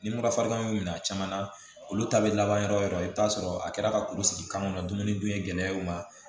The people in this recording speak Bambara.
Ni mura fari kan y'u minɛ a caman na olu ta bɛ laban yɔrɔ o yɔrɔ i bɛ taa sɔrɔ a kɛra ka kulu sigi kan nun kɔnɔ dumuni dun ye gɛlɛya ye o ma